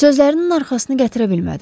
Sözlərinin arxasını gətirə bilmədi.